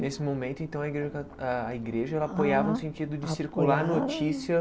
Nesse momento, então, a a igreja apoiava no sentido de circular a notícia.